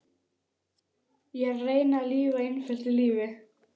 Ég reyni að lifa einföldu lífi.